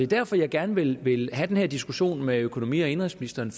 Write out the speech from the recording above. derfor jeg gerne vil vil have den her diskussion med økonomi og indenrigsministeren